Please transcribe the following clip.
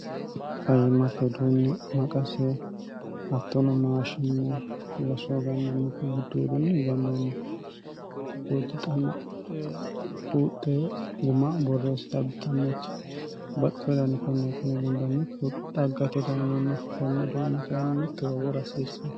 fayyimate uduunni maqase hattoono maashinne irasoo hgannanniti gudduodunni higannienni giddoottu xannbuuxxe guma borreessi xabbixannoti baxxi wodanni konneetine gundannikdhaggate dayimanno konne duunni kayinni mittu wawoo rasiissann